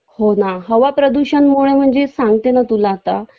हो ना हवा प्रदूषण मुळे म्हणजे सांगते ना तुला आता